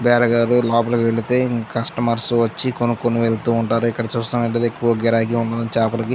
బేరగాడు లోపలికి వెళ్తే కస్టమర్స్ వచ్చి కొనుక్కొని వెళ్తూ ఉంటారు. ఇక్కడ చూస్తున్నట్లయితే బాగా గిరాకీ ఉంటుంది. చేపలకి --